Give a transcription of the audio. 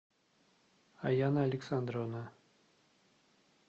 аяна александровна